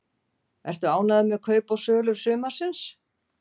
Ertu ánægður með kaup og sölur sumarsins?